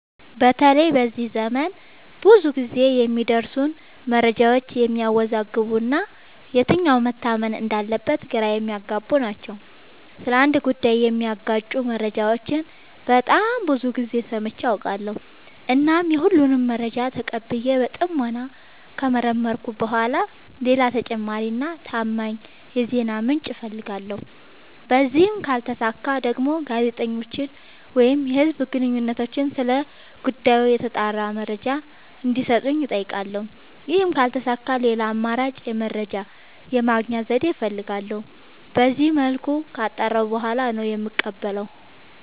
በተለይ በዚህ ዘመን ብዙ ግዜ የሚደርሱን መረጃዎች የሚያዎዛግቡ እና የትኛው መታመን እንዳለበት ግራ የሚያገቡ ናቸው። ስለ አንድ ጉዳይ የሚጋጩ መረጃዎችን በጣም ብዙ ግዜ ሰምቼ አውቃለሁ። እናም የሁሉንም መረጃ ተቀብዬ በጥሞና ከመረመርኩኝ በኋላ ሌላ ተጨማሪ እና ታማኝ የዜና ምንጭ አፈልጋለሁ። በዚህም ካልተሳካ ደግሞ ጋዜጠኞችን ወይም የህዝብ ግንኙነቶችን ስለ ጉዳዩ የተጣራ መረጃ እንዲ ሰጡኝ አጠይቃለሁ። ይህም ካልተሳካ ሌላ አማራጭ የመረጃ የማግኛ ዘዴ እፈልጋለሁ። በዚመልኩ ካጣራሁ በኋላ ነው የምቀበለው።